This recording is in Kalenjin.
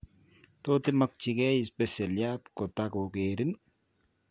Tot imakyikeei spesialiat kotako keerin